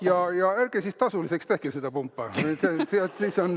Jah, ja ärge siis tasuliseks tehke seda pumpa.